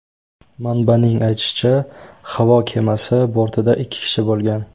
Manbaning aytishicha, havo kemasi bortida ikki kishi bo‘lgan.